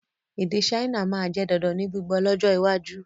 Èdè Saina máa jẹ dandan ní gbígbọ́ lọ́jọ́ iwájú